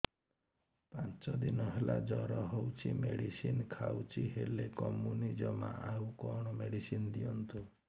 ପାଞ୍ଚ ଦିନ ହେଲା ଜର ହଉଛି ମେଡିସିନ ଖାଇଛି ହେଲେ କମୁନି ଜମା ଆଉ କଣ ମେଡ଼ିସିନ ଦିଅନ୍ତୁ